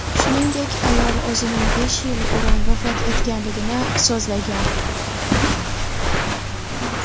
Shuningdek, ayol o‘zining besh yil burun vafot etganligini so‘zlagan.